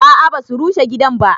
A'a ba su rushe gidan ba